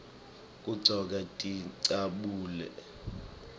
kugcokwa tincabule